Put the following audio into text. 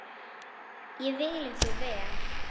Ég vil ykkur vel.